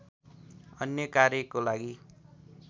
अन्य कार्यको लागि